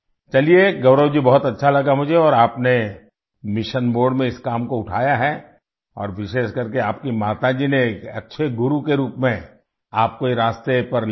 चलिए गौरव जी बहुत अच्छा लगा मुझे और आपने मिशन मोडे में इस काम को उठाया है और विशेषकर की आपकी माता जी ने एक अच्छे गुरु के रूप में आपको ये रास्ते पर ले गई